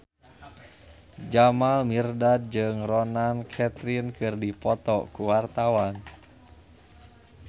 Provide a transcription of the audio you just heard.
Jamal Mirdad jeung Ronan Keating keur dipoto ku wartawan